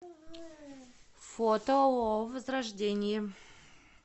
фото ооо возрождение